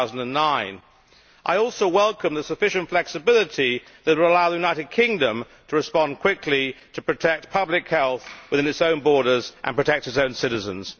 2009. I also welcome the sufficient flexibility that will allow the United Kingdom to respond quickly to protect public health within its own borders and protect its own citizens.